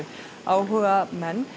áhugamenn